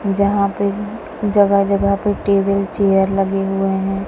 जहां पे जगह जगह पे टेबिल चेयर लगे हुए हैं।